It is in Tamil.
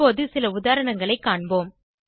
இப்போது சில உதாரணங்களைக் காண்போம்